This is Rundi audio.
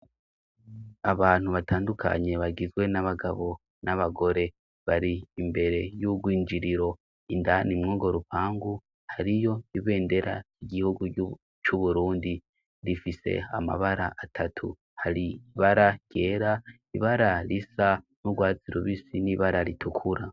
Abantu batandukanye bagizwe n'abagabo n'abagore bari imbere y'urwinjiriro indana imwogo rupangu hari yo ibendera igihugu c'uburundi rifise amabara atatu hari ibara ryera ibara risa n'urwazi rubisi n'ibara rituka.